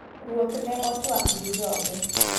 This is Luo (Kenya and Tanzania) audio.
Ruoth ne otuak gi joge.